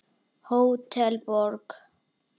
Hótel Borg.